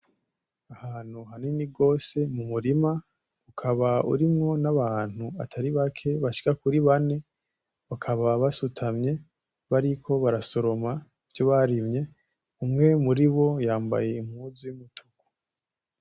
Ahantu hanini gose mu murima ukaba urimwo n'abantu atari bake bashika kuri bane bakaba basutamye bariko barasoroma ivyo barimye, umwe muribo yambaye impuzu y'umutuku.